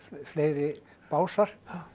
fleiri básar